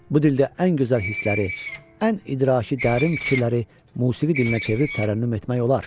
Bu dildə ən gözəl hissləri, ən idraki dərin fikirləri musiqi dilinə çevirib tərənnüm etmək olar.